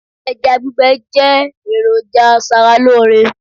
ẹja gbígbẹ je eroja aṣara lore